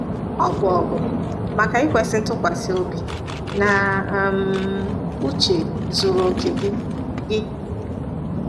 “Ọ bụ ọgụ maka ikwesị ntụkwasị obi na um uche zuru okè gị. gị.